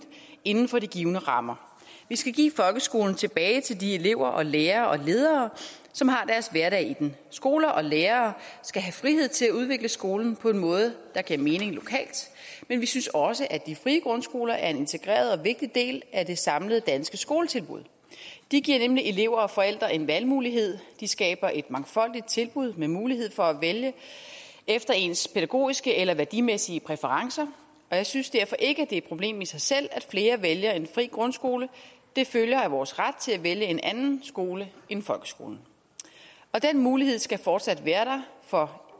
inden for de givne rammer vi skal give folkeskolen tilbage til de elever og lærere og ledere som har deres hverdag i den skoler og lærere skal have frihed til at udvikle skolen på en måde der giver mening lokalt men vi synes også at de frie grundskoler er en integreret og vigtig del af det samlede danske skoletilbud de giver nemlig elever og forældre en valgmulighed de skaber et mangfoldigt tilbud med mulighed for at vælge efter ens pædagogiske eller værdimæssige præferencer og jeg synes derfor ikke er et problem i sig selv at flere vælger en fri grundskole det følger af vores ret til at vælge en anden skole end folkeskolen den mulighed skal fortsat være der for